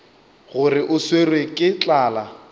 gore o swerwe ke tlala